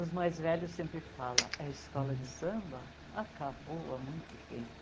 Os mais velhos sempre falam, a escola de samba acabou há muito tempo.